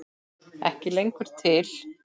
Ekki lengur til!